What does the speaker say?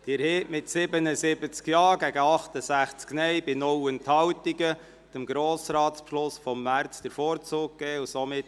Sie haben mit 77 Ja- gegen 68 Nein-Stimmen bei keiner Enthaltung dem Grossratsbeschluss vom 29. März 2018 den Vorzug gegeben.